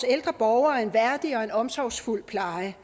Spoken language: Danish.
ældre borgere en værdig og omsorgsfuld pleje